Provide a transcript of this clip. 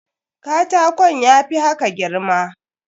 Katakon ya fi haka girma.